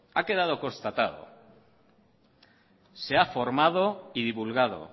ha quedado constatado se ha formado y divulgado